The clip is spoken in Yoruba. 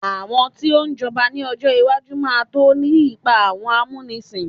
àwọn tio j'oba ni ọjọ iwaju ma to ri ipa awọn amunisin